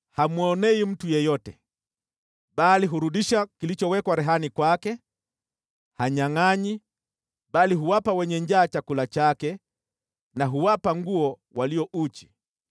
Hamwonei mtu yeyote, bali hurudisha kilichowekwa rehani kwake. Hanyangʼanyi, bali huwapa wenye njaa chakula chake na huwapa nguo walio uchi.